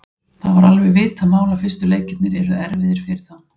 Það var alveg vitað mál að fyrstu leikirnir yrðu erfiðir fyrir þá.